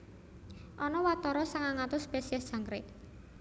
Ana watara sangang atus spesies jangkrik